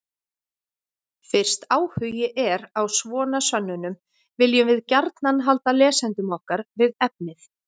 Fyrst áhugi er á svona sönnunum viljum við gjarnan halda lesendum okkar við efnið.